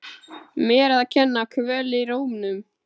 Mér að kenna- Kvöl í rómnum.